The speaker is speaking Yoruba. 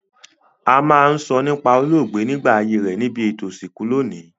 A ma n sọ nípá olóògbé nígbà ayé rẹ nibi ètò ìsìnkú loní